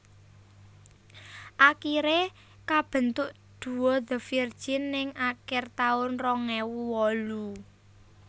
Akiré kabentuk duo The Virgin ning akir taun rong ewu wolu